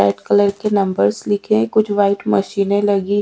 red colour के numbers लिखे है कुछ वाईट मशीने लगी--